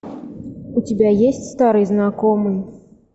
у тебя есть старый знакомый